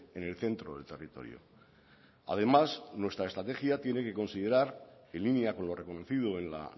en el centro del territorio además nuestra estrategia tiene que considerar en línea con lo reconocido en la